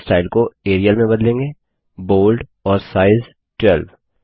और font style को Arial में बदलेंगे बोल्ड और साइज 12